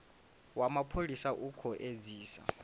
wa mapholisa u khou edzisa